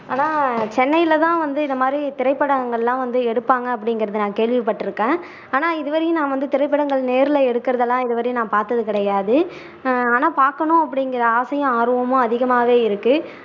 ஆனா சென்னையில தான் வந்து இது மாதிரி திரைப்படங்கள் எல்லாம் வந்து எடுப்பாங்க அப்படிங்குறதை நான் கேள்விப்பட்டுருக்கேன் ஆனா இது வரையும் நான் வந்து திரைப்படங்கள் நேர்ல எடுக்குறதெல்லாம் இதுவரையும் நான் பாத்தது கிடையாது ஆஹ் ஆனா பாக்கணும் அப்படிங்குற ஆசையும் ஆர்வமும் அதிகமாவே இருக்கு